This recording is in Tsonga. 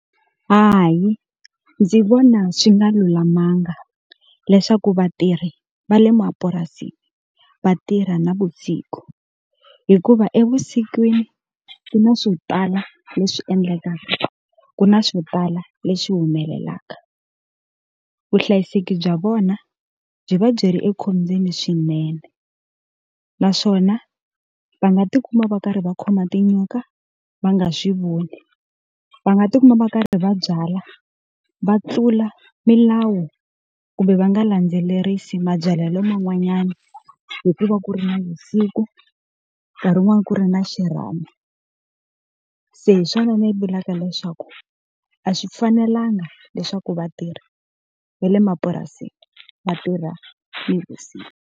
Hayi ndzi vona swi nga lulamanga leswaku vatirhi va le mapurasini va tirha navusiku. Hikuva evusikwini ku na swo tala leswi endlekaka, ku na swo tala leswi humelelaka. Vuhlayiseki bya vona byi va byi ri ekhombyeni swinene. Naswona va nga ti kuma va karhi va khoma tinyoka va nga swi voni, va nga ti kuma va karhi va byala va tlula milawu kumbe va nga landzelerisi mabyalelo man'wanyana hikuva ku ri navusiku, nkarhi wun'wana ku ri na xirhami. Se hi swona ni vulaka leswaku a swi fanelanga leswaku vatirhi va le mapurasini va tirha nivusiku.